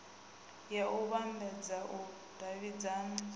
ya u vhambadza u davhidzana